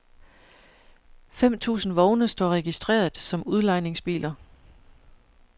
Fem tusind vogne står registreret som udlejningsbiler.